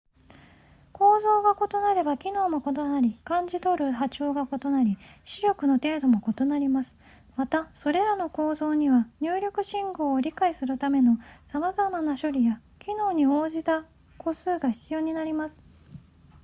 構造が異なれば機能も異なり感じ取る波長が異なり視力の程度も異なりますまたそれらの構造には入力信号を理解するためのさまざまな処理や機能に応じた個数が必要になります